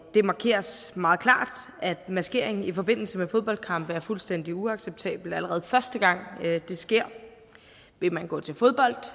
det markeres meget klart at maskering i forbindelse med fodboldkampe er fuldstændig uacceptabelt allerede første gang det sker vil man gå til fodbold